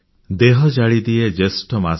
ଦେହ ଜାଳିଦିଏ ଜ୍ୟେଷ୍ଠ ମାସ